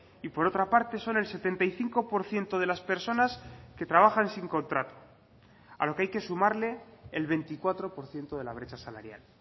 y por otra parte son el setenta y cinco por ciento de las personas que trabajan sin contrato a lo que hay que sumarle el veinticuatro por ciento de la brecha salarial